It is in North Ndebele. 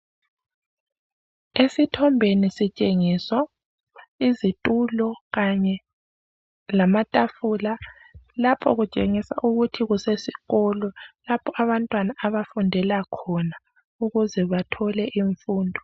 esithombeni sitshengiswa izitulo kanye lamatafula lapho kutshengisa ukuthi kusesikolo lapho abantwana abafundelakhona ukuze bathole imfundo